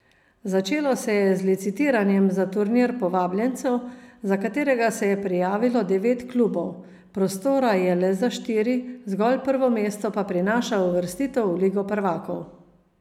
Začelo se je z licitiranjem za turnir povabljencev, za katerega se je prijavilo devet klubov, prostora je le za štiri, zgolj prvo mesto pa prinaša uvrstitev v ligo prvakov.